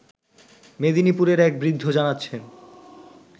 মেদিনীপুরের এক বৃদ্ধ জানাচ্ছেন